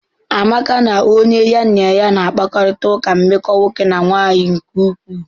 Amaka na onye ya na na-akparịta ụka nmeko nwoke na nwanyị nke ukwuu.